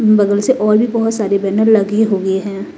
बगल से और भी बहुत सारी बैनर लगी हुई है।